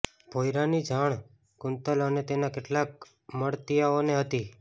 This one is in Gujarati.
ભોંયરાની જાણ કુંતલ અને તેના કેટલાક મળતિયાઓને હતી